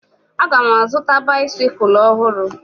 Aga m azụta baisikụl ọhụrụ